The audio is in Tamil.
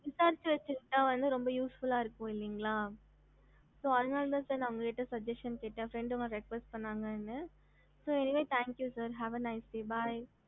ஹம்